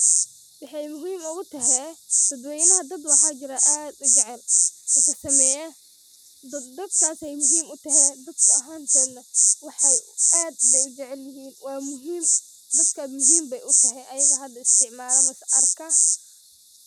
Wxay muhim ogute dadwenaha dad wxa jir ad u jecel sasameya dad, dakas ay muhim u tahe dadka ahantoda wxay ad bay u jecelyihin waa muhim dadaka aya muhim wxalaisticmala ama arka.